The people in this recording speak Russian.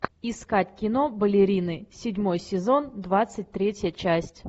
искать кино балерины седьмой сезон двадцать третья часть